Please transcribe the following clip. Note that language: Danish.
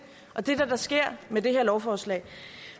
er det der sker med det her lovforslag